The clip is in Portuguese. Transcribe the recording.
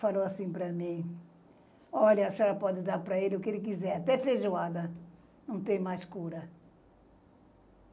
falou assim para mim, olha, a senhora pode dar para ele o que ele quiser, até feijoada não tem mais cura.